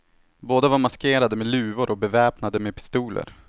Båda var maskerade med luvor och beväpnade med pistoler.